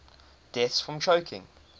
deaths from choking